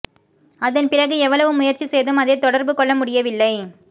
அதன் பிறகு எவ்வளவு முயற்சி செய்தும் அதைத் தொடர்புகொள்ள முடியவில்லை